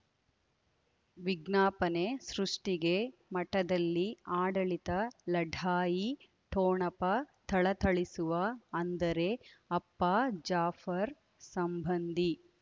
ವಿಜ್ಞಾಪನೆ ಸೃಷ್ಟಿಗೆ ಮಠದಲ್ಲಿ ಆಡಳಿತ ಲಢಾಯಿ ಠೊಣಪ ಥಳಥಳಿಸುವ ಅಂದರೆ ಅಪ್ಪ ಜಾಫರ್ ಸಂಬಂಧಿ